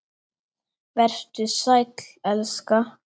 Vertu sæll, elska.